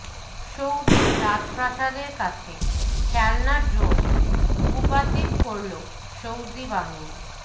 Saudi রাজপ্রাসাদের কাছে খেলনা ড্রোন ভূপাতিত করল সৌদি বাহিনী